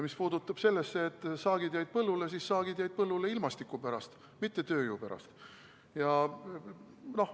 Mis puutub sellesse, et saak jäi põllule, siis saak jäi põllule ilmastiku pärast, mitte tööjõu pärast.